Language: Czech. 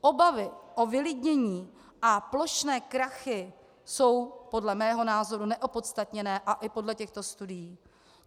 Obavy o vylidnění a plošné krachy jsou podle mého názoru neopodstatněné, a i podle těchto studií.